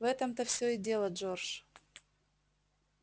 в этом-то всё и дело джордж